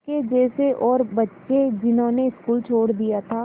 उसके जैसे और बच्चे जिन्होंने स्कूल छोड़ दिया था